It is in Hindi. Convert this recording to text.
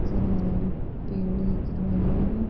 जरा हरे-हरे पेड़ दिख रहे हैं।